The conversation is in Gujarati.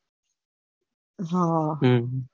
હા હમ